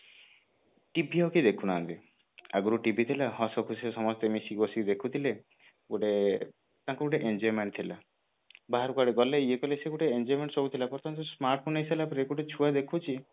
TV ଆଉ କେହି ଦେଖୁ ନାହାନ୍ତି ଆଗରୁ TV ଥିଲା ହଁ ସମସ୍ତେ ମିଶିକି ବସିକି ଦେଖୁଥିଲେ ଗୋଟେ ତାଙ୍କୁ ଗୋଟେ enjoyment ଥିଲା ବାହାରେ କୁଆଡେ ଗଲେ ଇଏ କଲେ ସେ ଗୋଟେ enjoyment ସବୁ ଥିଲା ବର୍ତ୍ତମାନ smartphone ହେଇ ସାରିଲା ପାରେ ଗୋଟେ ଛୁଆ ଦେଖୁଛି